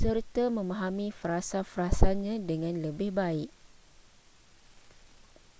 serta memahami frasa-frasanya dengan lebih baik